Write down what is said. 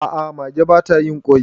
a ' a mage ba ta yin kwai